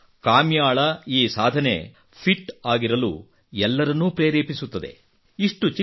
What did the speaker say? ಹಾಗೆಯೇ ಕಾಮ್ಯಾಳ ಈ ಸಾಧನೆ ಫಿಟ್ ಆಗಿರಲು ಎಲ್ಲರನ್ನೂ ಪ್ರೇರೇಪಿಸುತ್ತದೆ